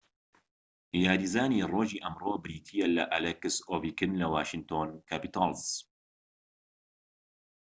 یاریزانی ڕۆژی ئەمڕۆ بریتیە لە ئەلێکس ئۆڤیکین لە واشینتۆن کاپیتاڵس